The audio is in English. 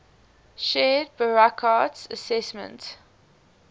shared burckhardt's assessment